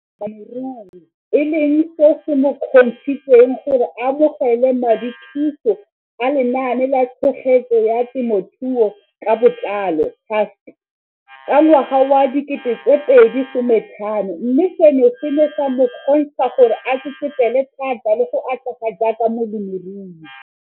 Balemirui e leng seo se mo kgontshitseng gore a amogele madithuso a Lenaane la Tshegetso ya Te mothuo ka Botlalo CASP ka ngwaga wa 2015, mme seno se ne sa mo kgontsha gore a tsetsepele thata le go atlega jaaka molemirui.